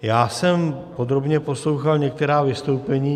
Já jsem podrobně poslouchal některá vystoupení.